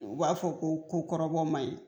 U b'a fɔ ko ko kɔrɔbɔ man ɲi.